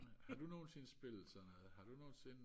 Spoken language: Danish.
har du nogensinde spillet sådan noget har du nogensinde